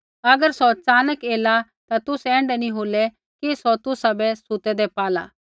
अगर सौ च़ानक एला ता तुसै ऐण्ढा नी होला कि सौ तुसाबै सुतैदै पाला